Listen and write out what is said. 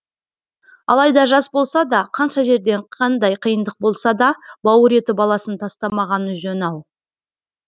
алайда жас болса да қанша жерден қандай қиындық болса да бауыр еті баласын тастамағаны жөн ау